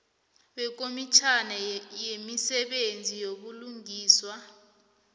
wekomitjhana yemisebenzi yobulungiswa